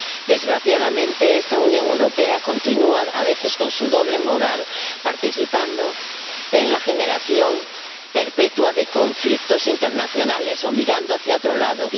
Desgraciadamente, esta Unión Europea continúa a veces, con su doble moral, participando en la generación perpetua de conflictos internacionales o mirando hacia otro lado.